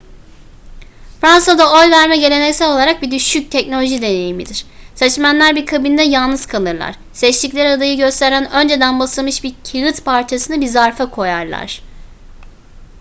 fransa'da oy verme geleneksel olarak bir düşük teknoloji deneyimidir seçmenler bir kabinde yalnız kalırlar seçtikleri adayı gösteren önceden basılmış bir kağıt parçasını bir zarfa koyarlar